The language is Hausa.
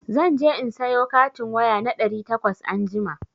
Za je in sayo katin waya na ɗari takwas anjima.